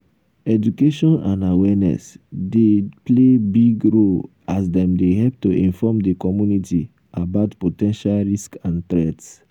education and awareness dey play big role as dem dey help to inform di community about po ten tial risks and threats.